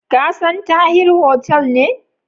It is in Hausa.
Ka san Tahir hotel ne?